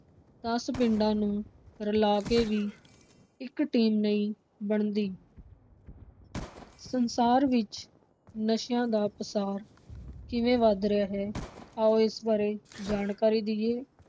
ਦਸ ਪਿੰਡਾਂ ਨੂੰ ਰਲਾ ਕੇ ਵੀ ਇਕ ਟੀਮ ਨਹੀਂ ਬਣਦੀ। ਸੰਸਾਰ ਵਿਚ ਨਸ਼ਿਆਂ ਦਾ ਪਸਾਰ ਕਿਵੇਂ ਵੱਧ ਰਿਹਾ ਹੈ ਆਉ ਇਸ ਬਾਰੇ ਜਾਣਕਾਰੀ ਦਈਏ।